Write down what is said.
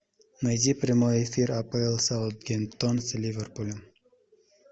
найди прямой эфир апл саутгемптон с ливерпулем